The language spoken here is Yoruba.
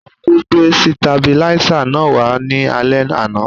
Ọnkú gbé sitabiláísà náà wá ní alẹ́ àná